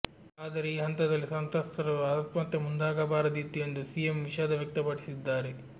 ಆದರೆ ಈ ಹಂತದಲ್ಲಿ ಸಂತ್ರಸ್ತರು ಆತ್ಮಹತ್ಯೆ ಮುಂದಾಗಬಾರದಿತ್ತು ಎಂದು ಸಿಎಂ ವಿಷಾದ ವ್ಯಕ್ತಪಡಿಸಿದ್ದಾರೆ